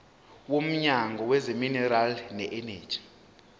womnyango wezamaminerali neeneji